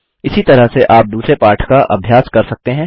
इसी तरह से आप दूसरे पाठ का अभ्यास कर सकते हैं